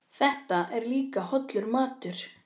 Þetta er líka hollur matur.